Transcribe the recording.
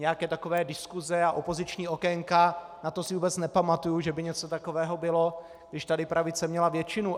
Nějaké takové diskuse a opoziční okénka, na to si vůbec nepamatuji, že by něco takového bylo, když tady pravice měla většinu.